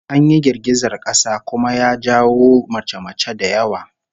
An yi girgizar kasa kuma ya jawo mace-mace da yawa